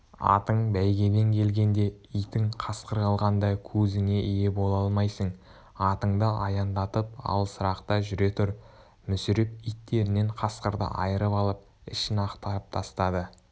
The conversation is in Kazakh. атың бәйгеден келгенде итің қасқыр алғанда көзіңе ие бола алмайсың атыңды аяңдатып алысырақта жүре тұр мүсіреп иттерінен қасқырды айырып алып ішін ақтарып тастады